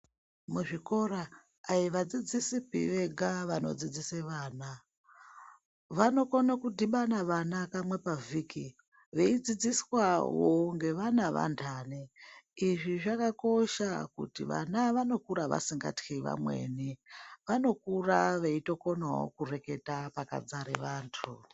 Muzvikora ,ai vadzidzisi pi vega vanodzidzisa vana. Vanokona kudhibana vana kamwe pavhiki veidzidziswawo ngevana vantani. Izvi zvakakosha vana vanokura vasingatywi vamweni. Vanokura veitokonawo kureketa pakadzara vantu.